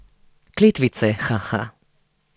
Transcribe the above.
Kletvice, haha.